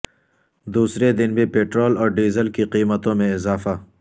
دوسرے دن بھی پٹرول اور ڈیزل کی قیمتوں میں اضافہ